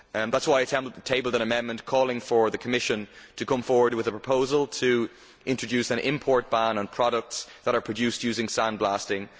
That is why I tabled an amendment calling for the Commission to come forward with a proposal to introduce an import ban on products that are produced using sandblasting.